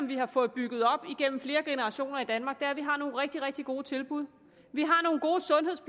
vi har fået bygget op igennem flere generationer i danmark er at vi har nogle rigtig rigtig gode tilbud vi